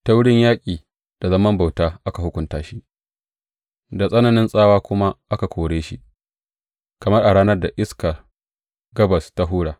Ta wurin yaƙi da zaman bauta ka hukunta shi, da tsananin tsawa kuma ka kore shi, kamar a ranar da iskar gabas ta hura.